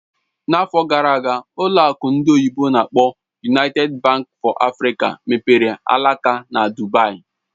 N'afọ gara aga, ụlọ akụ ndị oyibo n'akpọ "United Bank for Africa mepere alaka na Dubaì